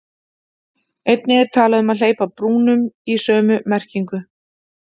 Einnig er talað um að hleypa brúnum í sömu merkingu.